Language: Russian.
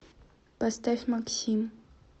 поставь максим